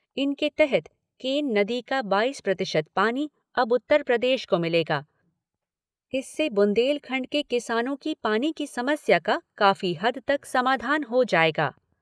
इनके तहत केन नदी का बाईस प्रतिशत पानी अब उत्तर प्रदेश को मिलेगा, इससे बुन्देलखण्ड के किसानों की पानी की समस्या का काफ़ी हद तक समाधान हो जाएगा।